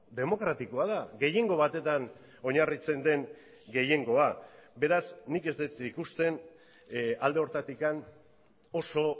demokratikoa da gehiengo batetan oinarritzen den gehiengoa beraz nik ez dut ikusten alde horretatik oso